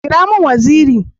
Kira mun waziri!